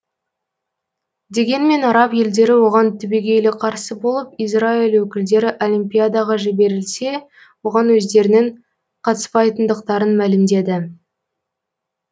дегенмен араб елдері оған түбегейлі қарсы болып израиль өкілдері олимпиадаға жіберілсе оған өздерінің қатыспайтындықтарын мәлімдеді